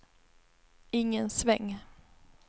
ingen sväng